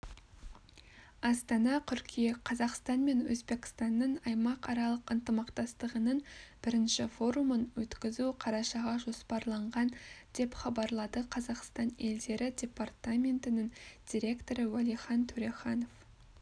астана қыркүйек қазақстан мен өзбекстанның аймақаралық ынтымақтастығының бірінші форумын өткізу қарашаға жоспарланған деп хабарлады қазақстан елдері департаментінің директоры уәлихан төреханов